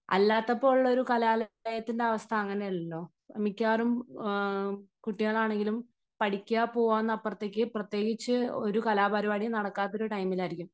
അല്ലാത്തപ്പോൾ ഉള്ള ഒരു കലാലയത്തിന്റെ അവസ്ഥ അങ്ങനെയല്ലല്ലോ. മിക്കവാറും കുട്ടികളാണെങ്കിലും പഠിക്കുക പോവുക എന്നതിന് അപ്പുറത്തേക്ക് പ്രത്യകിച്ച് ഒരു കലാപരിപാടിയും നടക്കാത്ത ഒരു ടൈമിൽ ആയിരിക്കും